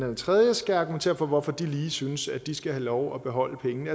den tredje skal argumentere for hvorfor de lige synes at de skal have lov at beholde pengene